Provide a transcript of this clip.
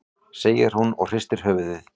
segir hún og hristir höfuðið.